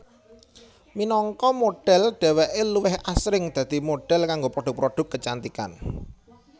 Minangka modhel dheweké luwih asring dadi modhel kanggo produk produk kecantikan